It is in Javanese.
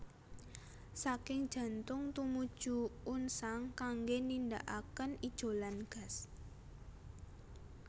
Saking jantung tumuju unsang kanggé nindakaken ijolan gas